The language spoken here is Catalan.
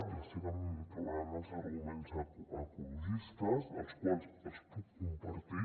ja sé que em trauran els arguments ecologistes els quals els puc compartir